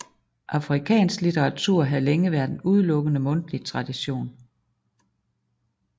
Afrikansk litteratur havde længe været en udelukkende mundtlig tradition